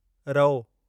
रओ